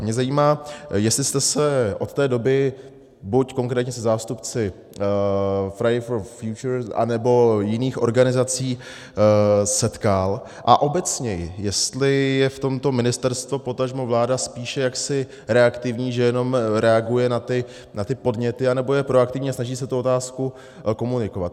A mě zajímá, jestli jste se od té doby buď konkrétně se zástupci Fridays for Future, anebo jiných organizací setkal, a obecněji, jestli je v tomto ministerstvo, potažmo vláda, spíše jaksi reaktivní, že jenom reaguje na ty podněty, anebo je proaktivní a snaží se tu otázku komunikovat.